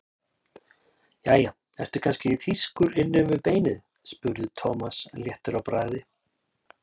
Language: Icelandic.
Jæja, ertu kannski þýskur inni við beinið? spurði Thomas léttur í bragði.